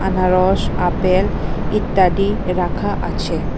আনারস আপেল ইত্যাদি রাখা আছে।